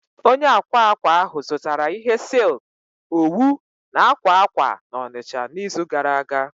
Onye akwa akwa ahụ zụtara ihe silk, owu na akwa akwa na Onicha n'izu gara aga